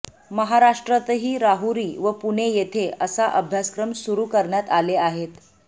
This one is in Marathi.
महाराष्ट्रातही राहुरी व पुणे येथे असा अभ्यासक्रम सुरू करण्यात आले आहेत